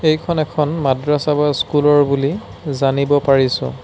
এইখন এখন মাদ্ৰাছা বা স্কুল ৰ বুলি জানিব পাৰিছোঁ।